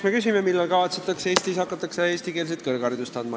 Me küsime, millal kavatsetakse Eestis hakata eestikeelset kõrgharidust andma.